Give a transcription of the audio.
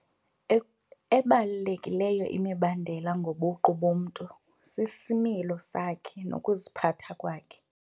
Ebalulekileyo imibandela ngobuqu bomntu sisimilo sakhe nokuziphatha kwakhe.